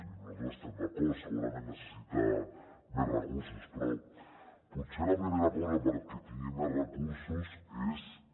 i nosaltres hi estem d’acord segurament necessita més recursos però potser la primera cosa perquè tingui més recursos és que